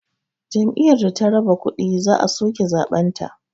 Jam'iyyar da ta raba kuɗi za a soke zaɓenta